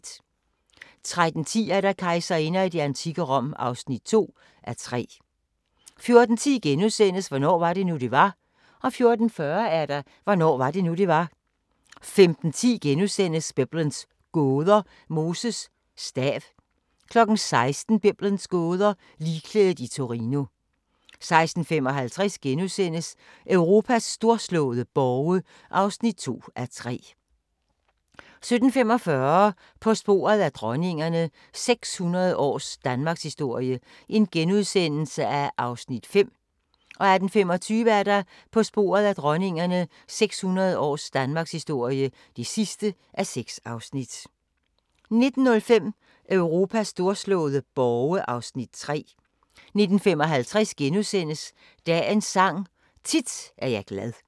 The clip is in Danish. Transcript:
13:10: Kejserinder i det antikke Rom (2:3) 14:10: Hvornår var det nu, det var? * 14:40: Hvornår var det nu, det var? 15:10: Biblens gåder – Moses stav * 16:00: Biblens gåder – Ligklædet i Torino 16:55: Europas storslåede borge (2:3)* 17:45: På sporet af dronningerne – 600 års Danmarkshistorie (5:6)* 18:25: På sporet af dronningerne – 600 års Danmarkshistorie (6:6) 19:05: Europas storslåede borge (3:3) 19:55: Dagens Sang: Tit er jeg glad *